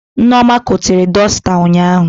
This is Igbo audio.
Nneoma gotere dọsta ụnyaahụ